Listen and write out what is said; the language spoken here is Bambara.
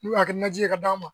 N'u y'a kɛ nanji ye ka d'an man.